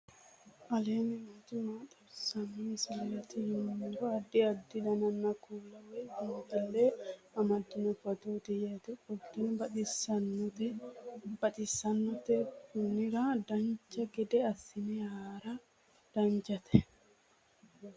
aleenni nooti maa xawisanno misileeti yinummoro addi addi dananna kuula woy biinsille amaddino footooti yaate qoltenno baxissannote konnira dancha gede assine haara danchate